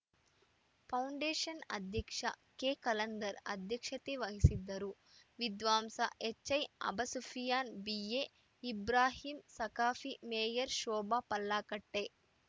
foundation ಅಧ್ಯಕ್ಷ ಕೆಖಲಂದರ್‌ ಅಧ್ಯಕ್ಷತೆ ವಹಿಸಿದ್ದರು ವಿದ್ವಾಂಸ ಎಚ್‌ಐಅಬಸುಫಿಯಾನ್‌ ಬಿಎಇಬ್ರಾಹಿಂ ಸಖಾಫಿ ಮೇಯರ್‌ ಶೋಭಾ ಪಲ್ಲಾಗಟ್ಟೆ